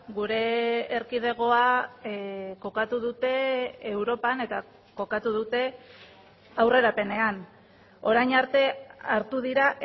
gure erkidegoa kokatu dute europan eta kokatu dute aurrerapenean orain arte hartu dira